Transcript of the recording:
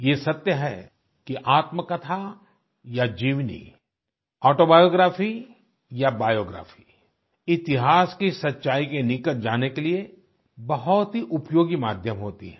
यह सत्य है आत्मकथा या जीवनी ऑटोबायोग्राफी या बायोग्राफी इतिहास की सच्चाई के निकट जाने के लिए बहुत ही उपयोगी माध्यम होती है